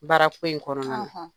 Baarako in kɔrɔna